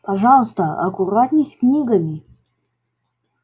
пожалуйста аккуратней с книгами